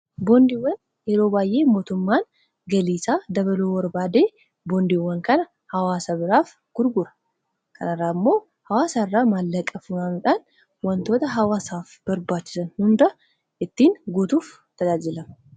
boondiiwwan yeroo baay'ee mootummaan galiisaa dabaluu barbaadee boondiiwwan kana hawaasa biraaf gurgura kanarraa immoo hawaasaa irraa maallaqafunanuudhaan wantoota hawaasaaf barbaachisan hunda ittiin guutuuf tajaajilama